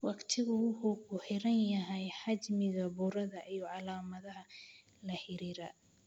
Waqtigu wuxuu ku xiran yahay xajmiga burada iyo calaamadaha la xiriira.